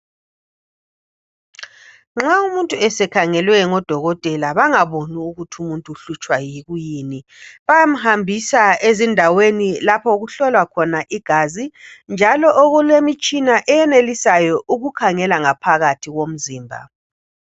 Nxa umuntu ekhangelwe ngabo dokotela bengaboni ukuthi umuntu uhlutshwa kuyini bayamhambisa ezindaweni lapho okuhlolwa khona igazi njalo okulemitshina eyenelisayo ukukhangela ngaphakathi komzimba